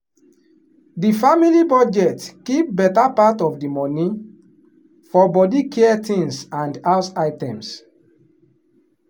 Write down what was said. the family budget keep better part of the money for body care things and house items.